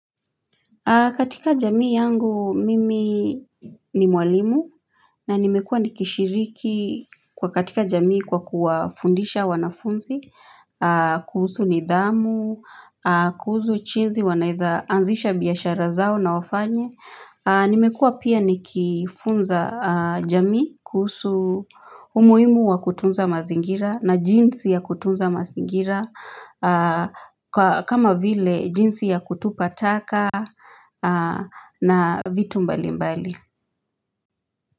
Katika jamii yangu, mimi ni mwalimu na nimekua nikishiriki kwa katika jamii kwa kuwafundisha wanafunzi, kuhusu nidhamu, kuhusu jinsi wanaeza anzisha biashara zao na wafanye. Nimekua pia nikifunza jamii kuhusu umuhimu wa kutunza mazingira na jinsi ya kutunza mazingira kama vile jinsi ya kutupa taka na vitu mbali mbali.